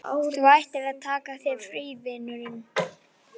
Þú ættir að taka þér frí, vinurinn.